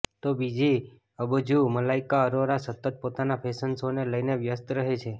તો બીજી અબજુ મલાઈકા અરોરા સતત પોતાના ફેશન શો ને લઈને વ્યસ્ત રહે છે